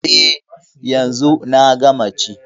E, yanzu na gama ci.